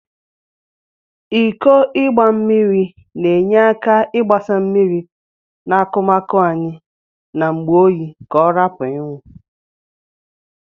Iko igba mmiri na enye aka igbasa mmiri na akụmaụ anyi n'ngbe oyi ka ọrapụ inwụ.